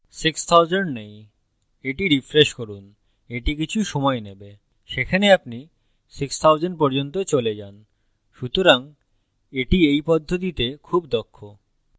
6000 নেই এটি refresh করুন এটি কিছু সময় নেবে সেখানে আপনি 6000 পর্যন্ত চলে যান সুতরাং এটি এই পদ্ধতিতে খুব দক্ষ